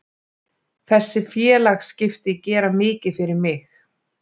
Þessi félagaskipti gera mikið fyrir mig.